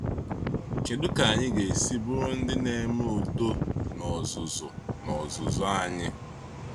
Kedu ka anyị ga-esi bụrụ ndị na-eme udo n’ọzụzụ n’ọzụzụ anyị?